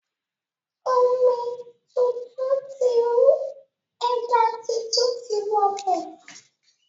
Omi tuntun ti rú, ẹja tuntun ti wọ bẹ̀.